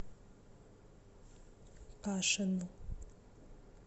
кашину